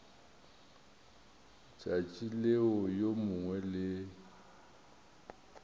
tšatši leo yo mongwe le